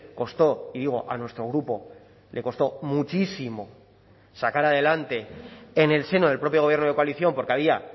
costó y digo a nuestro grupo le costó muchísimo sacar adelante en el seno del propio gobierno de coalición porque había